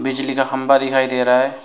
बिजली का खंबा दिखाई दे रहा है।